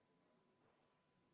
Henn Põlluaas, kas te küsite seisukohta?